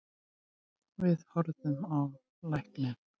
Við horfðum á lækninn.